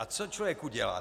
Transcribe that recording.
A co člověk udělá?